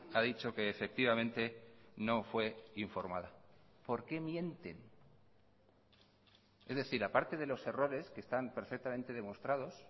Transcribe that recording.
ha dicho que efectivamente no fue informada por qué mienten es decir a parte de los errores que están perfectamente demostrados